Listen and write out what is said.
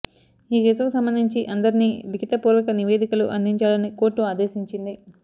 ఈ కేసుకు సంబంధించి అందరినీ లిఖిత పూర్వక నివేదికలు అందించాలని కోర్టు ఆదేశించింది